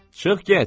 Çıx get!